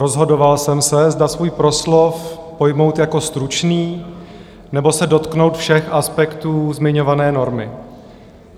Rozhodoval jsem se, zda svůj proslov pojmout jako stručný, nebo se dotknout všech aspektů zmiňované normy.